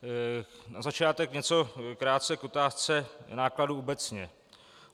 Na začátek něco krátce k otázce nákladů obecně.